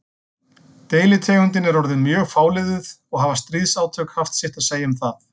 Deilitegundin er orðin mjög fáliðuð og hafa stríðsátök haft sitt að segja um það.